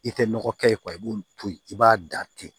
I tɛ nɔgɔ kɛ ye i b'o to yen i b'a da ten